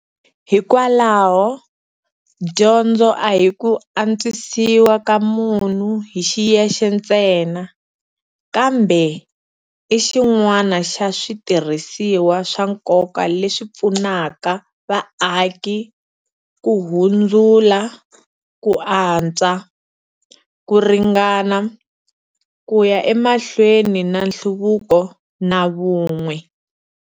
Hikwalaho, dyondzo a hi ku antswisiwa ka munhu hi xiyexe ntsena, kambe i xin'wana xa switirhisiwa swa nkoka leswi pfunaka vaaki ku hundzula ku antswa, ku ringana, ku ya emahlweni na nhluvuko, na vun'we.